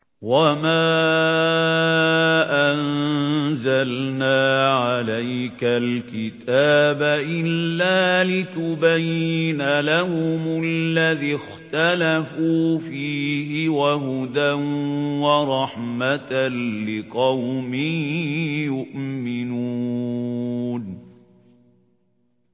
وَمَا أَنزَلْنَا عَلَيْكَ الْكِتَابَ إِلَّا لِتُبَيِّنَ لَهُمُ الَّذِي اخْتَلَفُوا فِيهِ ۙ وَهُدًى وَرَحْمَةً لِّقَوْمٍ يُؤْمِنُونَ